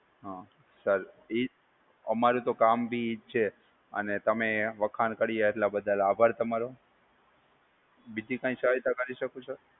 હમ sir, અમારું તો કામ ભી ઇ જ છે અને તમે વખાણ કર્યા એ બદલ આભાર તમારો. બીજી કાઇ સહાયતા કરી શકું sir?